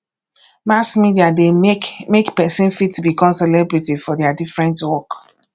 mass media de make make persin fit become celebrity for their different work